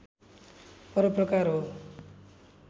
परोपकार हो